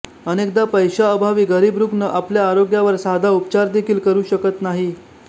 अनेकदा पैशाअभावी गरीब रुग्ण आपल्या आरोग्यावर साधा उपचार देखील करू शकत नाही